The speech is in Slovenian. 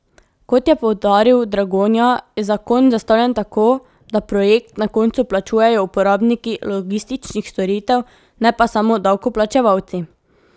Kot je poudaril Dragonja, je zakon zastavljen tako, da projekt na koncu plačujejo uporabniki logističnih storitev, ne pa samo davkoplačevalci.